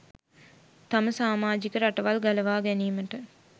තම සාමාජික රටවල් ගලවා ගැනීමට